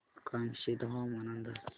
कामशेत हवामान अंदाज